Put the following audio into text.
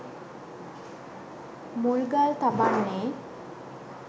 මුල්ගල් තබන්නේ.